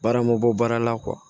Baara ma bɔ baara la